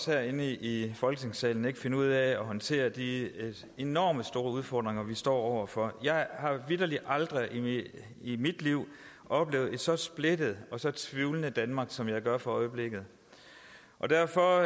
herinde i folketingssalen ikke finde ud af at håndtere de enormt store udfordringer vi står over for jeg har vitterlig aldrig i mit liv oplevet et så splittet og så tvivlende danmark som jeg gør for øjeblikket derfor